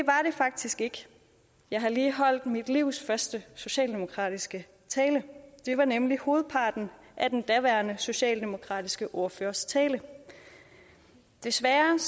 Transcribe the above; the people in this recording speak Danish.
faktisk ikke jeg har lige holdt mit livs første socialdemokratiske tale det var nemlig hovedparten af den daværende socialdemokratiske ordførers tale desværre